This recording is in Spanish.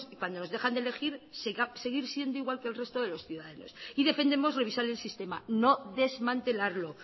cuando nos dejan de elegir seguir siendo igual que el resto de los ciudadanos y defendemos revisar el sistema no desmantelarlo